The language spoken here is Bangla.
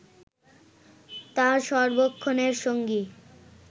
তাঁর সর্বক্ষণের সঙ্গী